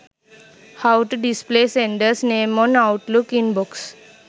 how to display senders name on outlook inbox